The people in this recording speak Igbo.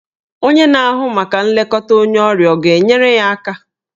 Onye na-ahụ maka nlekọta onye ọrịa ọ ga-enyere ya aka?